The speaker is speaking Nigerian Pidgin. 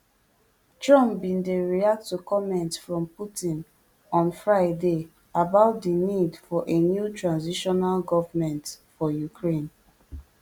trump bin dey react to comments from putin on friday about di need for a new transitional government for ukraine